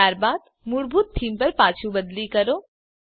ત્યારબાદ મૂળભૂત થીમ પર પાછું બદલી કરો